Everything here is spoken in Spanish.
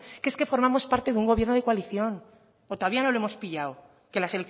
que es que formamos parte de un gobierno de coalición o todavía no lo hemos pillado que las